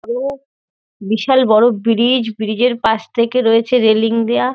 বড়ো-ও বিশাল বড়ো bridge. Bridge -এর পাশ থেকে রয়েছে রেলিং দেওয়া।